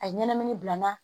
A ye ɲɛnɛmini bila n na